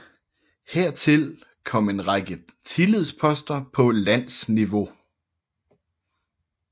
Hertil kom en lang række tillidsposter på landsniveau